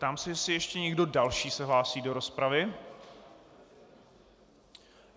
Ptám se, jestli ještě někdo další se hlásí do rozpravy.